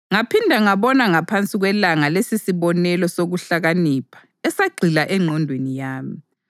Ngaphinda ngabona ngaphansi kwelanga lesisibonelo sokuhlakanipha esagxila engqondweni yami: